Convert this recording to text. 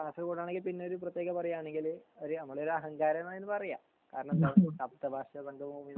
കാസർകോട് ആണെങ്കി പിന്നെ ഒരു പ്രേതെകത പറയാണങ്കിൽ ഒര് നമ്മളൊരു അഹങ്കാരം ന്നാ അതിന് പറയ